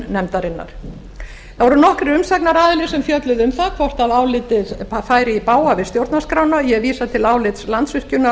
nefndarinnar það voru nokkrir umsagnaraðilar sem fjölluðu um það hvort álitið færi í bága við stjórnarskrána og ég vísa til álits landsvirkjunar og